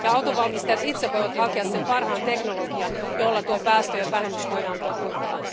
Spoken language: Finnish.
Ja autonvalmistajat itse voivat hakea sen parhaan teknologian, jolla tuo päästöjen vähennys voidaan toteuttaa.